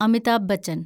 Amitabh Bachchan